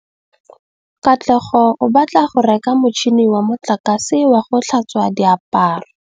Katlego o batla go reka motšhine wa motlakase wa go tlhatswa diaparo.